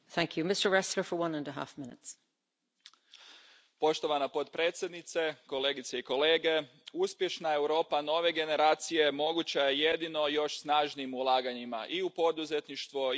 Poštovana predsjedavajuća, kolegice i kolege, uspješna Europa nove generacije moguća je jedino još snažnijim ulaganjima i u poduzetništvo i u istraživanje, razvoj, mlade i obrazovanje.